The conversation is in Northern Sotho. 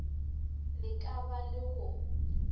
le ka ba le go